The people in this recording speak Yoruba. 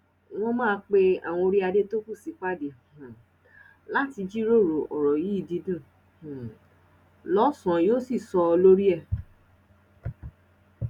wọn máa pe àwọn orí adé tó kù sípàdé um láti jíròrò ọrọ yìí dídùn um lọsàn yóò sì sọ lórí ẹ